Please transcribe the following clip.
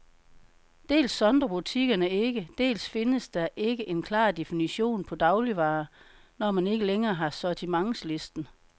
Dels sondrer butikkerne ikke, dels findes der ikke en klar definition på dagligvarer, når man ikke længere har sortimentslisten.